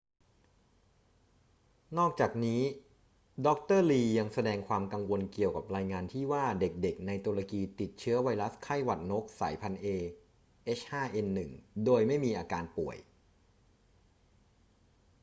นอกจากนี้ ดร. ลียังแสดงความกังวลเกี่ยวกับรายงานที่ว่าเด็ก ๆ ในตุรกีติดเชื้อไวรัสไข้หวัดนกสายพันธุ์ a h5n1 โดยไม่มีอาการป่วย